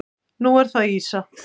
Nú er það ýsa.